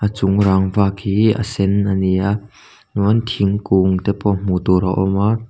chung rangva khi a sen a ni a chuan thingkung te pawh hmu tur a awm a.